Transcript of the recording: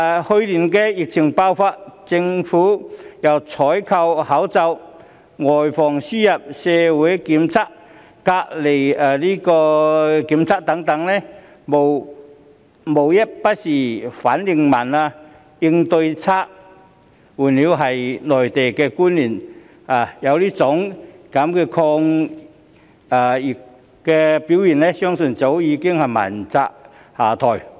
去年疫情爆發，政府由採購口罩、外防輸入，以至社區檢測、隔離檢疫等，無一不是反應緩慢、應對差勁，換作是內地官員有此抗疫表現，相信早已問責下台。